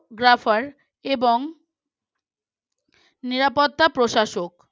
graphar এবং নিরাপত্তা প্রশাসক